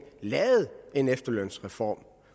lavede en efterlønsreform